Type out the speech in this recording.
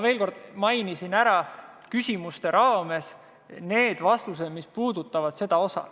Ma mainisin küsimuste raames ära need vastused, mis puudutavad seda osa.